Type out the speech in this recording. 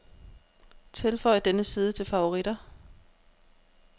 Tilføj denne side til favoritter.